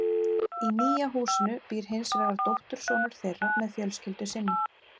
Í nýja húsinu býr hins vegar dóttursonur þeirra með fjölskyldu sinni.